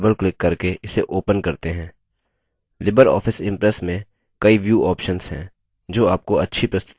Libre office impress में कई view options हैं जो आपको अच्छी प्रस्तुति बनाने में मदद करते हैं